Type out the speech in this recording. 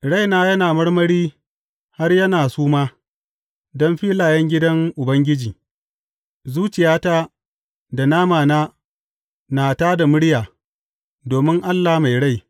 Raina yana marmari, har yana suma, don filayen gidan Ubangiji; zuciyata da namana na tā da murya domin Allah mai rai.